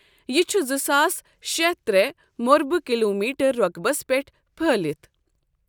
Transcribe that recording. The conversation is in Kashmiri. یہ چھُ زٕ ساس شیٚتھ ترٛے مربعہ کلومیٹر رۄقبس پٮ۪ٹھ پھٲلِتھ ۔